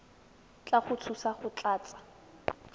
tla go thusa go tlatsa